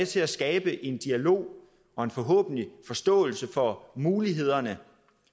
til at skabe en dialog og forhåbentlig en forståelse for mulighederne